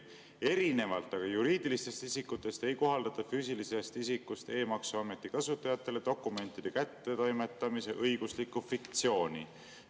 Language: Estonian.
Erinevalt aga juriidilistest isikutest ei kohaldata füüsilisest isikust e-maksuameti kasutajatele dokumentide kättetoimetamise õiguslikku fiktsiooni.